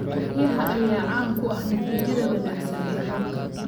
Riyaha ayaa caan ku ah natiijada wanaagsan ee roobka.